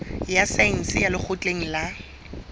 ya saense ya lekgotleng la